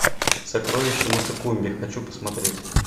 сокровища матекумбе хочу посмотреть